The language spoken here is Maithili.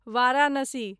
वाराणसी